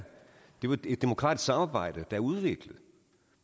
jo et demokratisk samarbejde er udviklet